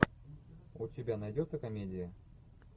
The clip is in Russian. у тебя найдется комедия